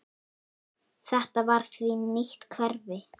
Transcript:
Þetta var því nýtt hverfi.